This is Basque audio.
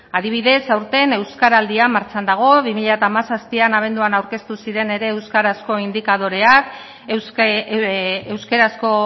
adibidez aurten euskaraldia martxan dago bi mila hamazazpian abenduan aurkeztu ziren ere euskarazko indikadoreak euskarazko